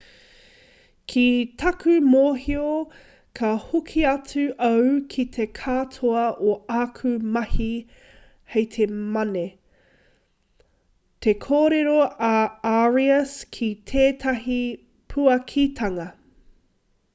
ki taku mōhio ka hoki atu au ki te katoa o āku mahi hei te mane te korero a arias ki tētahi puakitanga